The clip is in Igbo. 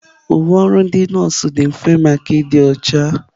Uwe ọrụ ndị nọọsụ dị mfe maka ịdị ọcha.